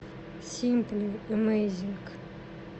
симпли эмэйзинг